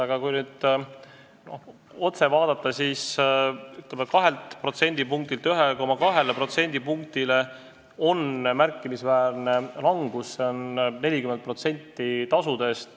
Aga, ütleme, 2%-lt 1,2%-le – see on märkimisväärne langus, see on 40% tasudest.